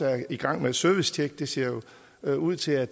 er i gang med et servicetjek det ser jo ud til at